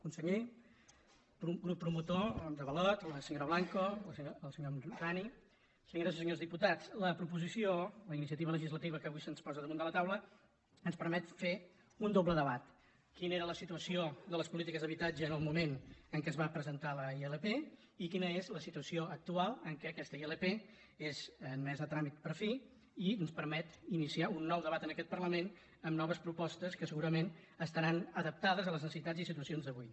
conseller grup promotor d’avalot la senyora blanco el senyor homrani senyores i senyors diputats la proposició la iniciativa legislativa que avui se’ns posa damunt de la taula ens permet fer un doble debat quina era la situació de les polítiques d’habitatge en el moment en què es va presentar la ilp i quina és la situació actual en què aquesta ilp és admesa a tràmit per fi i ens permet iniciar un nou debat en aquest parlament amb noves propostes que segurament estaran adaptades a les necessitats i situacions d’avui